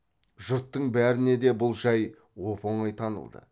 жұрттың бәріне де бұл жай оп оңай танылды